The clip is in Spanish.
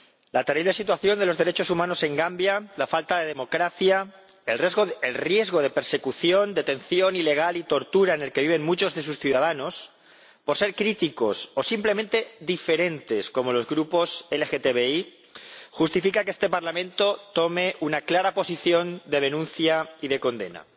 La terrible situación de los derechos humanos en Gambia, la falta de democracia, el riesgo de persecución, detención ilegal y tortura en el que viven muchos de sus ciudadanos por ser críticos o simplemente diferentes, como los grupos LGTBI, justifica que este Parlamento tome una clara posición de denuncia y de condena.